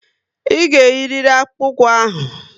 Ị ga eyiriri akpụkpu ụkwụ ahụ!